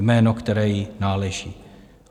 Jméno, které jí náleží.